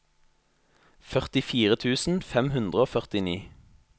førtifire tusen fem hundre og førtini